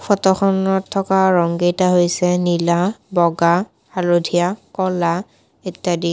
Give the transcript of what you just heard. ফটোখনত থকা ৰং কেইটা নীলা বগা হালধীয়া ক'লা ইত্যাদি।